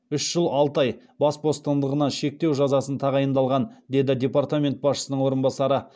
үш жыл алты ай бас бостандығын шектеу жазасы тағайындалған деді департамент басшысының орынбасары